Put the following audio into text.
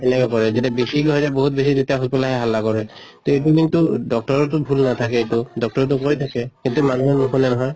এনেকা কৰে, যেতিয়া বেছিকে হৈ যায় বহুত বেছি তেতিয়া hospital ত আহি হাল্লা কৰে। তʼ এইটো কিন্তু doctor ৰ টো ভুল নাথাকে এইটো, doctor য়েতো কৈ থাকে। কিন্তু মানুহে নুশুনে নহয়